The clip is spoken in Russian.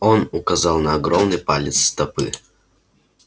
он указал на огромный палец стопы